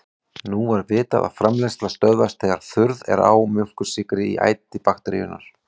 Nú var vitað að framleiðsla stöðvast þegar þurrð er á mjólkursykri í æti bakteríunnar.